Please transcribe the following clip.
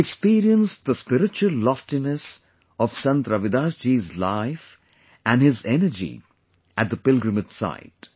I have experienced the spiritual loftiness of Sant Ravidas ji's life and his energy at the pilgrimage site